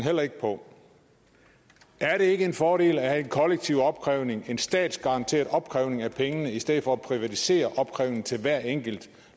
heller ikke på er det ikke en fordel at have en kollektiv opkrævning og en statsgaranteret opkrævning af pengene i stedet for at privatisere opkrævningen til hver enkelt